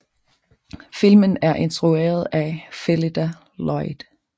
Filmen er instrueret af Phyllida Lloyd